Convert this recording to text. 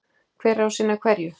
Hver á að sinna hverju?